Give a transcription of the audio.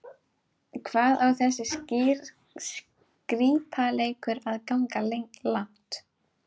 Hvað á þessi skrípaleikur að ganga langt?